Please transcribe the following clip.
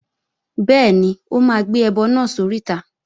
Bẹ́ẹ̀ni, ó máa gbé ẹbọ náà sóríta